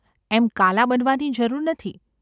‘એમ કાલા બનવાની જરૂર નથી.